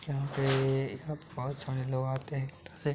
यहाँ पे यहाँ पे बोहोत सारे लोग आते हैं से।